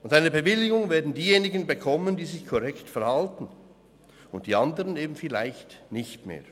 Und eine Bewilligung werden diejenigen bekommen, die sich korrekt verhalten – und die anderen eben vielleicht nicht mehr.